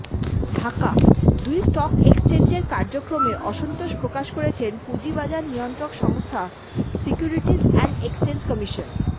ঢাকাঃ দুই স্টক এক্সচেঞ্জের কার্যক্রমে অসন্তোষ প্রকাশ করেছে পুঁজিবাজার নিয়ন্ত্রক সংস্থা সিকিউরিটিজ অ্যান্ড এক্সচেঞ্জ কমিশন